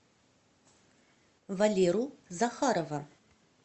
валеру захарова